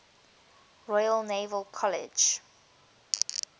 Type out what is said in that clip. royal naval college